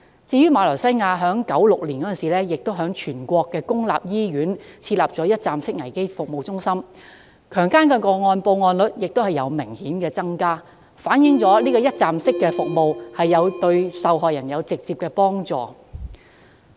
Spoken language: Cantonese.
至於馬來西亞，則在1996年於全國公立醫院設立一站式危機服務中心，其後強姦個案報案率亦有明顯增加，反映一站式服務對受害人有直接幫助。